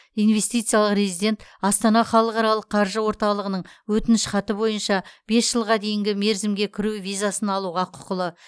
инвестициялық резидент астана халықаралық қаржы орталығының өтінішхаты бойынша бес жылға дейінгі мерзімге кіру визасын алуға құқылы